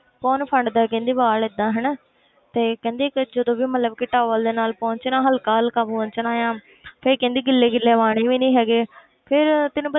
ਕੌਣ ਫੰਡਦਾ ਕਹਿੰਦੀ ਵਾਲ ਏਦਾਂ ਹਨਾ ਤੇ ਕਹਿੰਦੀ ਕਿ ਜਦੋਂ ਵੀ ਮਤਲਬ ਕਿ towel ਦੇ ਨਾਲ ਪੋਚਣਾ ਹਲਕਾ ਹਲਕਾ ਪੋਚਣਾ ਆਂ ਫਿਰ ਕਹਿੰਦੀ ਗਿੱਲੇ ਗਿੱਲੇ ਵਾਹੁਣੇ ਵੀ ਨੀ ਹੈਗੇ ਫਿਰ ਤੈਨੂੰ